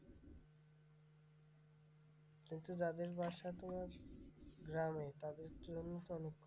কিন্তু যাদের বাসা তোমার গ্রামে তাদের জন্য তো অনেক,